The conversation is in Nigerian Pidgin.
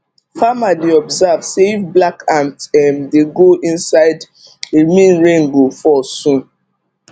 farmer dey observe say if black ant um dey go inside e mean rain go fall soon